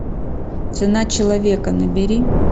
цена человека набери